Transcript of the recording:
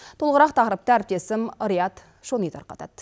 толығырақ тақырыпты әріптесім риат шони тарқатады